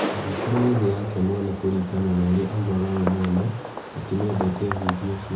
Agikorũo ethi yake mwene kũringana na ũrĩa oigaga we mwene, ati niendete ahunjia acio.